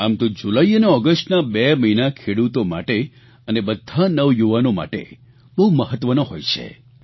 આમ તો જુલાઇ અને ઓગષ્ટના બે મહિના ખેડૂતો માટે અને બધા નવયુવાનો માટે બહુ મહત્વના હોય છે